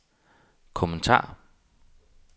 kommentar